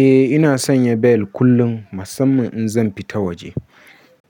Eh ina sanya bel kullum musamman in zan fita waje.